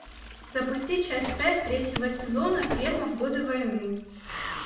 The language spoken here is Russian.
запусти часть пять третьего сезона ферма в годы войны